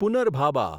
પુનર્ભાબા